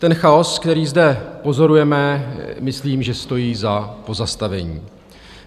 Ten chaos, který zde pozorujeme, myslím, že stojí za pozastavení.